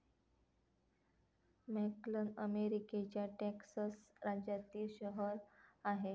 McAllen अमेरिकेच्या Texas राज्यातील शहर आहे.